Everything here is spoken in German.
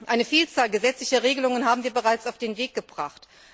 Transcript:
Eine Vielzahl gesetzlicher Regelungen haben wir bereits auf den Weg gebracht.